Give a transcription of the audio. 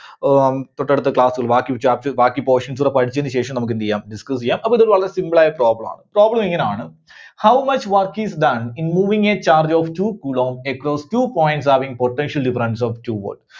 ആഹ് um തൊട്ടടുത്ത class ൽ ബാക്കി chapter ബാക്കി portions കൂടെ പഠിച്ചതിന് ശേഷം നമ്മുക്ക് എന്ത് ചെയ്യാം, discuss ചെയ്യാം. അതുപോലെ ഇത് വളരെ simple ആയ problem ആണ്. problem ഇങ്ങനെയാണ് how much work is done in moving a charge of two coulomb across two points having potential difference of two volt?